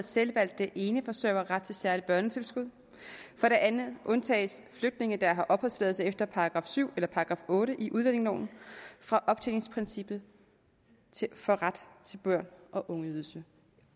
selvvalgte eneforsørgere ret til et særligt børnetilskud for det andet undtages flygtninge der har opholdstilladelse efter § syv eller § otte i udlændingeloven fra optjeningsprincippet for ret til børne og ungeydelse